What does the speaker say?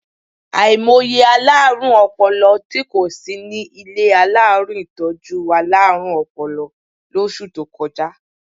Àìmọye alárùn ọpọlọ tí kò sí ní ilé alárùn ìtọ́jú alárùn ọpọlọ lóṣù tó kọjá.